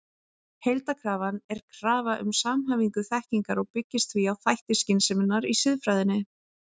Heildarkrafan er krafa um samhæfingu þekkingar og byggist því á þætti skynseminnar í siðfræðinni.